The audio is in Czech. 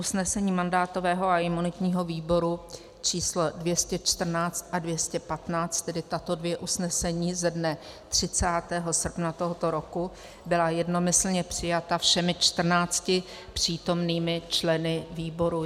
Usnesení mandátového a imunitního výboru číslo 214 a 215, tedy tato dvě usnesení ze dne 30. srpna tohoto roku, byla jednomyslně přijata všemi čtrnácti přítomnými členy výboru.